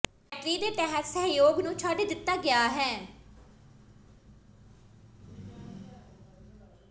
battery ਦੇ ਤਹਿਤ ਸਹਿਯੋਗ ਨੂੰ ਛੱਡ ਦਿੱਤਾ ਗਿਆ ਹੈ